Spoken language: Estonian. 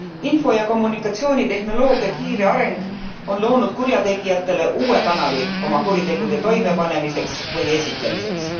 Info ja kommunikatsioonitehnoloogia kiire areng on loonud kurjategijatele uue kanali oma kuritegude toimepanemiseks või esitlemiseks.